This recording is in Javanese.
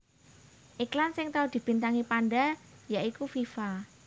Iklan sing tau dibintangi panda ya iku Viva